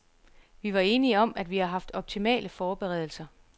Vi var enige om, at vi har haft optimale forberedelser.